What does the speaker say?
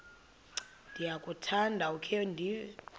ndiyakuthanda ukukhe ndive